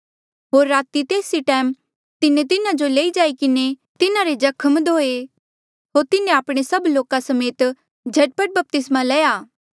होर राती तेस ई टैम तिन्हें तिन्हा जो लई जाई किन्हें तिन्हारे जख्म धोए होर तिन्हें आपणे सभ लोका समेत झट पट बपतिस्मा लया